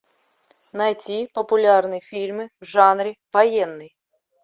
найти популярные фильмы в жанре военный